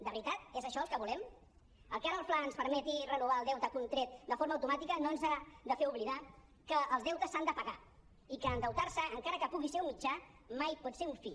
de veritat que és això el que volem el que ara el fla ens permeti renovar el deute contret de forma automàtica no ens ha de fer oblidar que els deutes s’han de pagar i que endeutar se encara que pugui ser un mitjà mai pot ser un fi